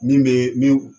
Min bɛ min